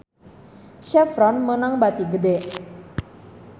Chevron meunang bati gede